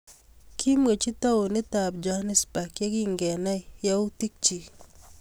kimwechi taunitab Joanesburg yekingenai youtikchich